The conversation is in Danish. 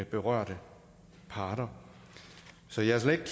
berørte parter så jeg er slet ikke